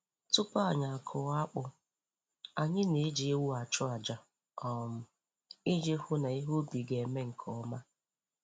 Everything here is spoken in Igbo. Tupu anyị akụọ akpu, anyị na-eji ewu achụ àjà um iji hụ na ihe ubi ga-aga nke ọma.